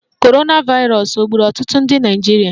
Korona vairos ọ gburu ọtụtụ ndị Naịjirịa?